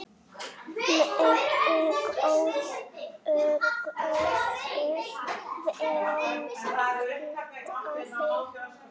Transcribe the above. Megi góður Guð vernda þig.